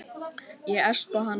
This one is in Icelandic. Ég espa hana líka.